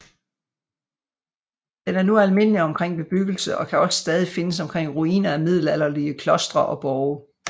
Den er nu almindelig omkring bebyggelse og kan også stadig findes omkring ruiner af middelalderlige klostre og borge